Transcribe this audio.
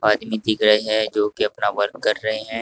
आदमी दिख रहे हैं जो कि अपना वर्क कर रहे हैं।